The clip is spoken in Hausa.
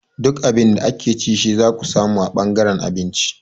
Duk Abin da ake ci shi zaka samu a ɓangaren abinci